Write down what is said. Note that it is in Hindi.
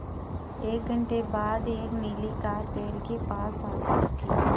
एक घण्टे बाद एक नीली कार पेड़ के पास आकर रुकी